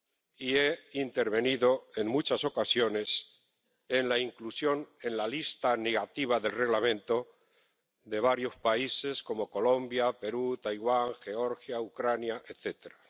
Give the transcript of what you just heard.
Y he intervenido en muchas ocasiones en la inclusión en la lista negativa del Reglamento de varios países como Colombia, Perú, Taiwán, Georgia, Ucrania, etcétera.